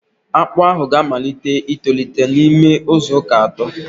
Akpụ ahụ ga-amalite itolite n'ime izu uka atọ